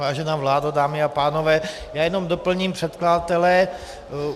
Vážená vládo, dámy a pánové, já jenom doplním předkladatele.